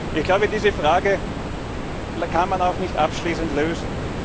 Ich glaube, diese Frage kann man auch nicht abschließend lösen.